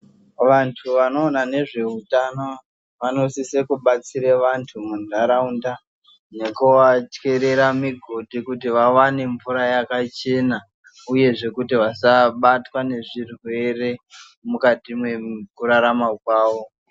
Vantu vanoona ndezveutano vanosise kubatsire vantu muntaraunda nekuvatyerera migodi kuti vawane mvura yakachena uyezve kuti vasabatwa nezvirwere mukati mekurarama kwawo.